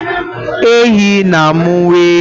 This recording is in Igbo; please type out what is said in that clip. Ehi na-amụ nwa ehi